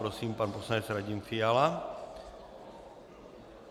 Prosím, pan poslanec Radim Fiala.